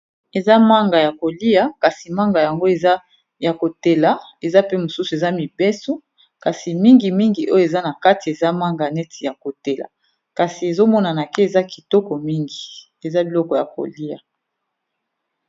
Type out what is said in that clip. Eza manga ya kolia kasi manga yango eza ya kotela, eza pe mosusu eza mibes,o kasi mingi mingi oyo eza na kati eza manga neti ya kotela, kasi ezomonana ke eza kitoko mingi eza biloko ya koliya.